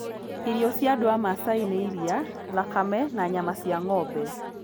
Irio cia andũ a Masai nĩ iria, thakame, na nyama cia ng'ombe.